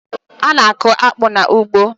A na-akụ akpu n'ugbo